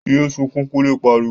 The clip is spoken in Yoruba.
Yé sunkún! Kunle pariwo